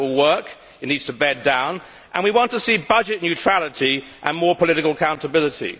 We hope it will work. It needs to bed down, and we want to see budget neutrality and more political accountability.